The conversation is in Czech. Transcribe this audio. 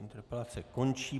Interpelace končí.